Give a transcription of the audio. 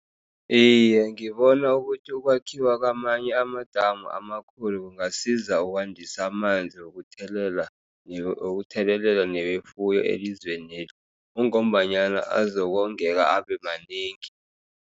Iye, ngibona ukuthi ukwakhiwa kwamanye amadamu amakhulu kungasisiza ukwandisa amanzi wokuthelela, wokuthelelela newefuyo elizweneli. Kungombanyana azokongeka abe manengi.